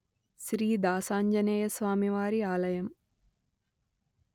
శ్రీ దాసాంజనేయస్వామివారి ఆలయం